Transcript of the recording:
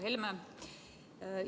Härra Helme!